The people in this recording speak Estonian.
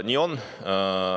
Nii on.